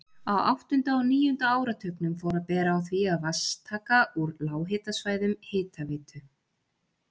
Á áttunda og níunda áratugnum fór að bera á því að vatnstaka úr lághitasvæðum Hitaveitu